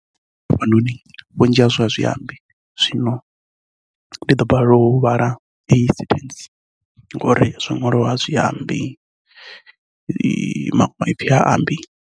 Vho Mabitsela, vha bvaho ngei Modimolle vunṅuni ṅa Limpopo, vho ita khumbelo ya khadzimiso ya masheleni banngani nga ṅwedzi wa ṅara 2020, fhedzi vha vhu dzwa zwa u pfi vha a koloda nahone a vha swikeli ṅhoṅea.